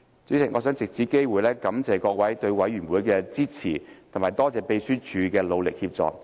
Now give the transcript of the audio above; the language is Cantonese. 主席，我想藉此機會感謝各位對委員會的支持，並感謝秘書處的努力協助。